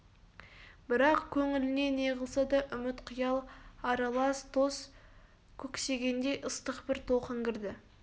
бірақ көңіліне неғылса да үміт қиял аралас дос көксегендей ыстық бір толқын кірді